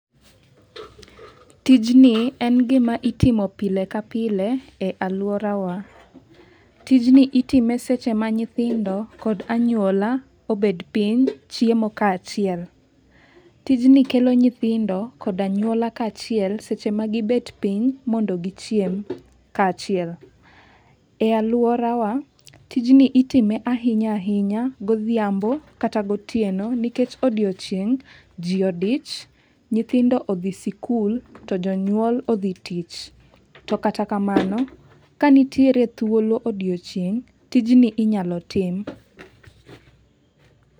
Tijni en gima itimo pile ka pile e alworawa. Tijni itime seche ma nyithindo kod anywola obed piny chiemo kaachiel. Tijni kelo nyithindo koda anywola kaachiel seche ma gibet piny mondo gichiem kaachiel. E alworawa, tijni itime ahinya ahinya godhiambo kata gotieno nikech odiochieng' ji odich, nyithindo odhi sikul to jonyuol odhi tich. To kata kamano, ka nitiere chuolo odiochieng', tijni inyalo tim.